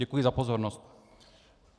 Děkuji za pozornost.